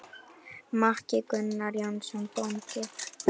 Maki: Gunnar Jónsson bóndi.